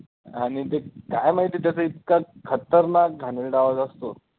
आणि ते काय माहिती त्याचा इतका खतरनाक घाणेरडा आवाज असतो.